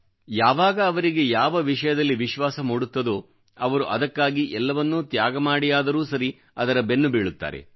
ಯಾವಾಗ ಅವರಿಗೆ ಯಾವ ವಿಷಯದಲ್ಲಿ ವಿಶ್ವಾಸ ಮೂಡುತ್ತದೋ ಅವರು ಅದಕ್ಕಾಗಿ ಎಲ್ಲವನ್ನೂ ತ್ಯಾಗಮಾಡಿಯಾದರೂ ಸರಿ ಅದರ ಬೆನ್ನುಬೀಳುತ್ತಾರೆ